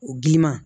O giliman